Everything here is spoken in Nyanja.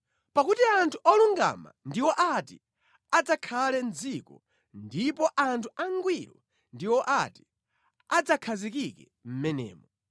Pakuti anthu olungama ndiwo ati adzakhale mʼdziko ndipo anthu angwiro ndiwo ati adzakhazikike mʼmenemo;